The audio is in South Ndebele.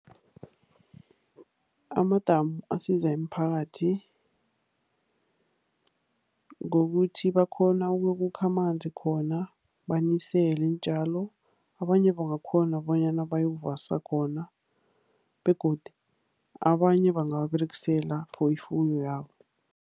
Amadamu asiza imiphakathi ngokuthi bakghona ukukha amanzi khona banisele iintjalo, abanye bangakghona bonyana bayokuvasa khona begodu abanye bangawaberegisela for ifuyo yabo.